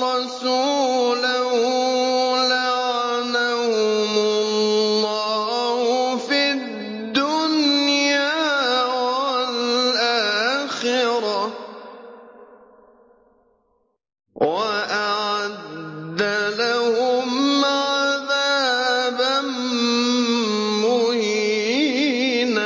وَرَسُولَهُ لَعَنَهُمُ اللَّهُ فِي الدُّنْيَا وَالْآخِرَةِ وَأَعَدَّ لَهُمْ عَذَابًا مُّهِينًا